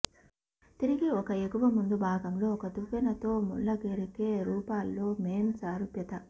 తిరిగి ఒక ఎగువ ముందు భాగంలో ఒక దువ్వెన తో ముళ్ళగరికె రూపాల్లో మేన్ సారూప్యత